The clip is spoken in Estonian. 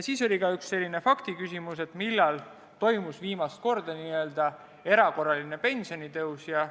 Oli ka üks faktiküsimus: millal toimus viimast korda n-ö erakorraline pensionitõus?